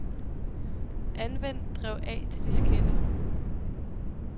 Anvend drev A til disketter.